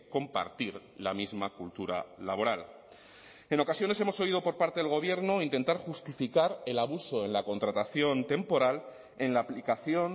compartir la misma cultura laboral en ocasiones hemos oído por parte del gobierno intentar justificar el abuso en la contratación temporal en la aplicación